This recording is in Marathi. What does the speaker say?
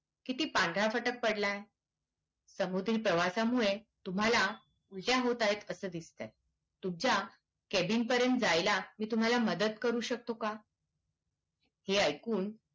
किती पांढरा फट्क पडलाय समोरच्या प्रवाश्यामुळे तुम्हाला ईजा होत आहे अस दिसतय तुमच्या केबिन पर्यन्त जायला मी तुम्हाला मदत करू शकतो का हे ऐकून